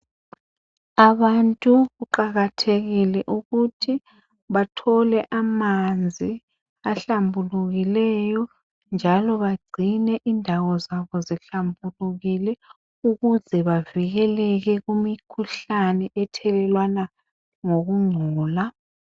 Abantu kuqakathekile ukuthi bathole amanzi ahlambulukileyo njalo bagcine indawo zabo zihlambulukile ukuze bavikeleke kumikhuhlane ethelelwana ngokungcola.